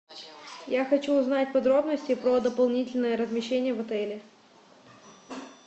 я хочу узнать подробности про дополнительное размещение в отеле